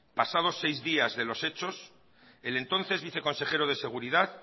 pasados seis días de los hechos el entonces el viceconsejero de seguridad